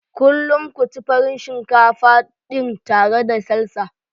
Kullum ku ci Farin shinkafa dina tare da Salsa.